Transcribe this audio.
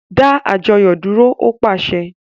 Da àjọyọ dúró! O paṣẹ̀